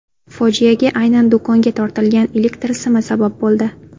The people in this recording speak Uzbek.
Fojiaga aynan do‘konga tortilgan elektr simi sabab bo‘ldi.